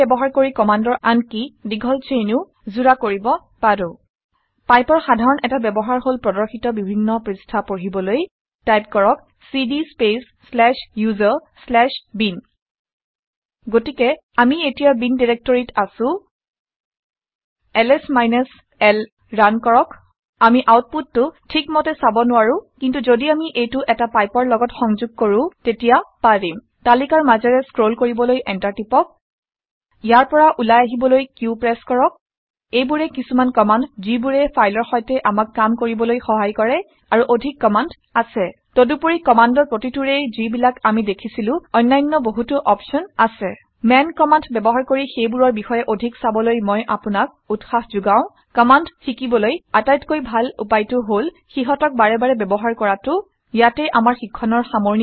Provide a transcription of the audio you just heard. Pipe ব্যৱহাৰ কৰি কামাণ্ডৰ আনকি দীঘল ছেইনো যোৰা কৰিব পাৰো। পাইপৰ সাধাৰন এটা ব্যৱহাৰ হল প্ৰৰ্দশিত বিভিন্ন পৄস্ঠা পঢ়িবলৈ টাইপ কৰক cd space slash user slash bin গতিকে আমি এতিয়া বিন ডাইৰেক্টৰীত আছো। এতিয়া এলএছ মাইনাছ l ৰান কৰক। আমি আউটপুতটো ঠিক মতে চাৰ নোৱাৰো। কিন্তু ঘদি আমি এইটো এটা পাইপৰ লগত সংঘোগ কৰো তাক তেতিয়া পাৰিম। তালিকাৰ মাজেৰে স্ক্ৰল কৰিবলৈ এন্টাৰ প্ৰেছ কৰক। ইয়াৰ পৰা উলাই আহিবলৈ কিউ q প্ৰেছ কৰক। এইবোৰেই কিছুমান কামাণ্ড ঘিবোৰে ফাইলৰ সৈতে আমাক কাম কৰিবলৈ সহায় কৰে। আৰু অধিক কামাণ্ড আছে। তদুপৰি কামাণ্ডৰ প্ৰতিটোৰেই ঘি বিলাক আমি দেখিছিলো অনান্য বহুতো অপছন আছে। মান কমাণ্ড ব্যৱহাৰ কৰি সেইবোৰৰ বিষয়ে অধিক চাবলৈ মই আপোনাক উৎসাহ ঘোগওঁ। কামাণ্ড শিকিবলৈ আটাইতকৈ ডাল উপায় টো হল সিহতক বাৰে বাৰে ব্যৱহাৰ কৰাটো। ইয়াতে আমাৰ শিক্ষণৰ সামৰণি পৰিছে